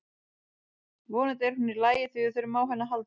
Vonandi er hún í lagi því við þurfum á henni að halda.